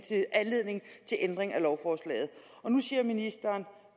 til ændring af lovforslaget og nu siger ministeren